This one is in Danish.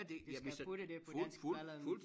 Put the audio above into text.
Ja det det skal hurtigt på dansk for allerede